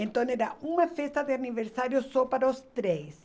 Então era uma festa de aniversário só para os três.